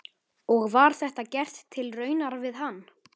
Og var þetta gert til raunar við hann.